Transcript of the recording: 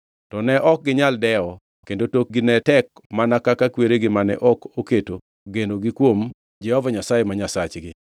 To ne ok ginyal dewo kendo tokgi ne tek mana kaka kweregi mane ok oketo genogi kuom Jehova Nyasaye ma Nyasachgi.